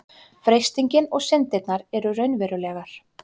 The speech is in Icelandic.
freistingin og syndin eru raunverulegar